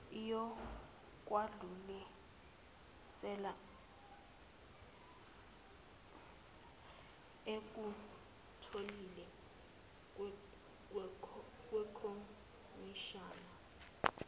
iyokwedlulisela ekutholile kwikhomishana